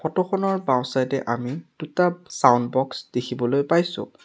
Photo খনৰ বাওঁ side এ আমি দুটা ছাউণ্ড বক্স দেখিবলৈ পাইছোঁ।